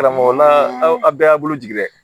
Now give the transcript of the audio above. Karamɔgɔ la aw bɛɛ y'a bolojigin dɛ